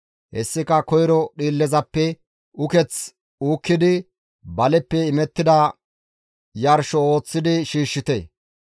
Hessika koyro dhiillezappe uketh uukkidi baleppe imettida yarsho ooththidi shiishshite.